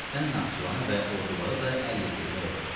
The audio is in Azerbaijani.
Tiflisdən Naxçıvana və Ordubada da əl yetirmək olur.